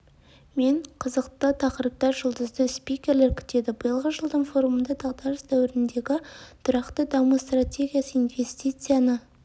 мен қызықты тақырыптар жұлдызды спикерлер күтеді биылғы жылдың форумында дағдарыс дәуіріндегі тұрақты даму стратегиясы инвестицияны